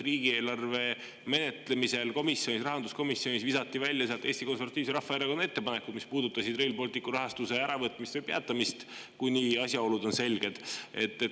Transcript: Riigieelarve menetlemisel rahanduskomisjonis visati sealt välja Eesti Konservatiivse Rahvaerakonna ettepanekud, mis puudutasid Rail Balticu rahastuse äravõtmist või peatamist, kuni asjaolud on selged.